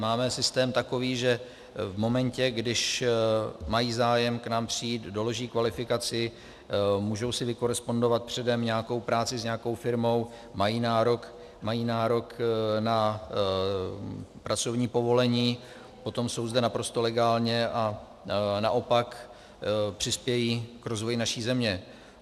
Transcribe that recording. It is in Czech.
Máme systém takový, že v momentě, když mají zájem k nám přijít, doloží kvalifikaci, můžou si vykorespondovat předem nějakou práci s nějakou firmou, mají nárok na pracovní povolení, potom jsou zde naprosto legálně a naopak přispějí k rozvoji naší země.